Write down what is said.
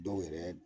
Dɔw yɛrɛ